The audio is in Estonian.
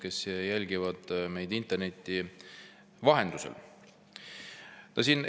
Head inimesed, kes jälgivad meid interneti vahendusel!